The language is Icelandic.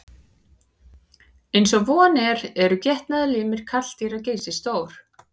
Eins og von er eru getnaðarlimir karldýra geysistórir.